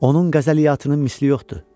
Onun qəzəliyyatının misli yoxdur.